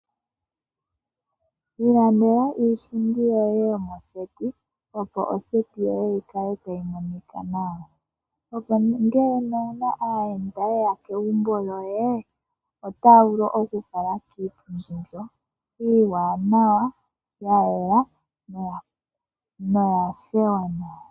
Ilandela iipundi yoye yomoseti opo oseti yoye yi kale tayi monika nawa. Opo ngele owuna aayenda ye ya kegumbo lyoye otaya vulu okukuutumba kiipundi mbyoka iiwanawa ya yela noya opala nawa.